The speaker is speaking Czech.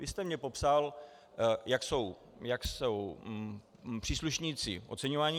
Vy jste mně popsal, jak jsou příslušníci oceňovaní.